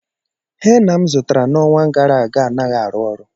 Hena m zụtara n'ọnwa gara aga anaghị arụ ọrụ.